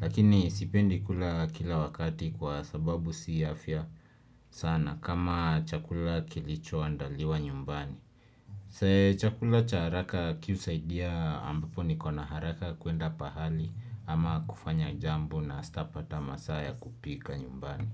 Lakini sipendi kula kila wakati kwa sababu si afya sana kama chakula kilicho andaliwa nyumbani. So chakula cha haraka kihusaidia ambapo niko na haraka ya kuenda pahali ama kufanya jambo na stapata masaa ya kupika nyumbani.